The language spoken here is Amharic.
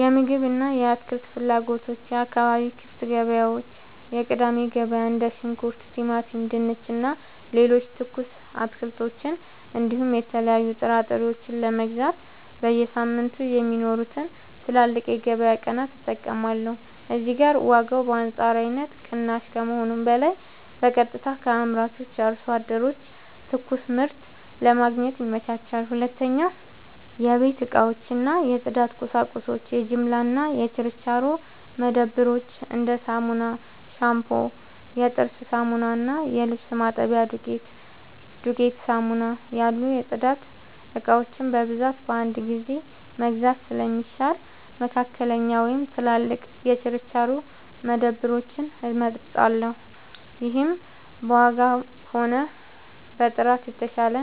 የምግብ እና የአትክልት ፍላጎቶች የአካባቢ ክፍት ገበያዎች (የቅዳሜ ገበያ): እንደ ሽንኩርት፣ ቲማቲም፣ ድንች እና ሌሎች ትኩስ አትክልቶችን እንዲሁም የተለያዩ ጥራጥሬዎችን ለመግዛት በየሳምንቱ የሚኖሩትን ትላልቅ የገበያ ቀናት እጠቀማለሁ። እዚህ ጋር ዋጋው በአንጻራዊነት ቅናሽ ከመሆኑም በላይ በቀጥታ ከአምራች አርሶ አደሮች ትኩስ ምርት ለማግኘት ይመቻቻል። 2. የቤት እቃዎች እና የጽዳት ቁሳቁሶች የጅምላ እና የችርቻሮ መደብሮች: እንደ ሳሙና፣ ሻምፑ፣ የጥርስ ሳሙና እና የልብስ ማጠቢያ ዱቄት (ዱቄት ሳሙና) ያሉ የጽዳት እቃዎችን በብዛት በአንድ ጊዜ መግዛት ስለሚሻል፣ መካከለኛ ወይም ትላልቅ የችርቻሮ መደብሮችን እመርጣለሁ። ይህም በዋጋም ሆነ በጥራት የተሻለ